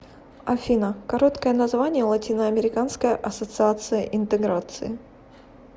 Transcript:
афина короткое название латиноамериканская ассоциация интеграции